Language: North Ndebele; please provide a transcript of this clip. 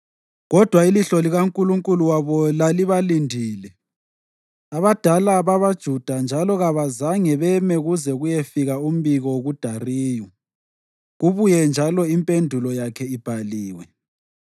Kodwa ilihlo likaNkulunkulu wabo lalibalindile abadala babaJuda njalo kabazange beme kuze kuyefika umbiko kuDariyu kubuye njalo impendulo yakhe ibhaliwe.